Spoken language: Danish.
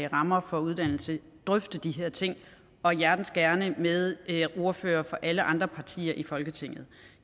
rammer for uddannelse drøfte de her ting og hjertens gerne med ordførere fra alle andre partier i folketinget